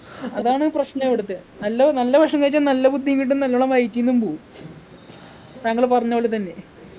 അതാണ് പ്രശ്നം ഇവിടത്തെ നല്ലത് നല്ല ഭക്ഷണം കഴിച്ചാ നല്ല ബുദ്ധിയും കിട്ടും നാല്ലോണം വയറ്റീന്നും പോവും താങ്കള് പറഞ്ഞപോലെതന്നെ